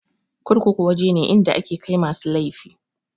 Kurkuku waje ne inda ake kai masu laifi.